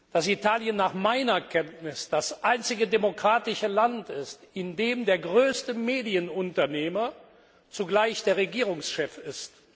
dass Italien nach meiner Kenntnis das einzige demokratische Land ist, in dem der größte Medienunternehmer zugleich der Regierungschef ist?